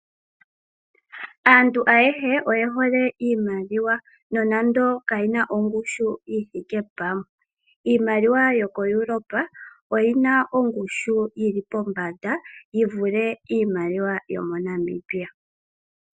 Aantu ayehe oye hole iimaliwa nonande kayina ongushu yi thike pamwe. Iimaliwa yokoEurope oyina ongushu yili pombanda yi vule iimaliwa yomoNamibia.